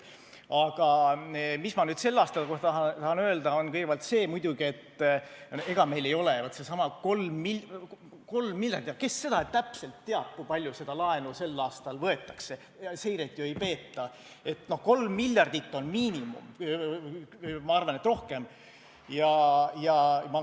Aga mis ma nüüd selle aasta kohta tahan öelda, on kõigepealt see muidugi, et ega meil ei ole ainult seesama 3 miljardit, sest kes seda täpselt teab, kui palju sel aastal laenu võetakse, seiret ju ei peeta – 3 miljardit on miinimum, aga ma arvan, et rohkem.